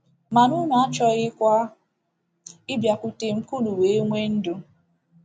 Mana unu achọghịkwa ịbịakwute m ka unu wee nwee ndụ. ”